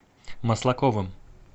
маслаковым